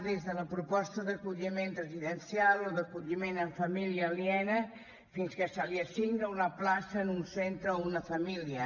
des de la proposta d’acolliment residencial o d’acolliment en família aliena fins que se li assigna una plaça en un centre o una família